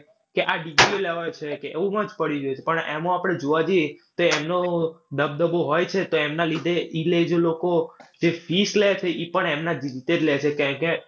કે આ પણ એમાં આપડે જોવા જઈએ તો એમનો દબદબો હોય છે તો એમના લીધે લોકો જે fees લેશે ઈ પણ એમના જ રીતે જ લેશે.